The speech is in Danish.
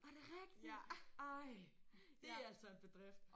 Er det rigtigt? Ej det altså en bedrift